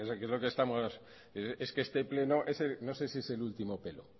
es lo que estamos este pleno no sé si es el último pelo